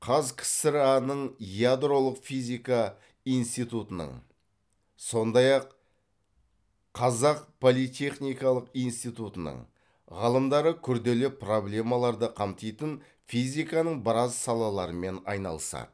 қаз ксра ның ядролық физика институтының сондай ақ қазақ политехникалық институтының ғалымдары күрделі проблемаларды қамтитын физиканың біраз салаларымен айналысады